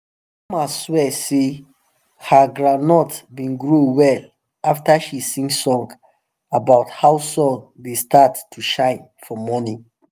grandma swear sey her grondnut been grow well after she sing song about how sun dey start to shine for morning